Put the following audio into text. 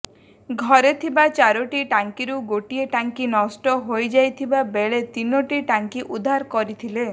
ଘରେ ଥିବା ଚାରୋଟି ଟାଙ୍କିରୁ ଗୋଟିଏ ଟାଙ୍କି ନଷ୍ଟ ହୋଇଯାଇଥିବା ବେଳେ ତିନୋଟି ଟାଙ୍କି ଉଦ୍ଧାର କରିଥିଲେ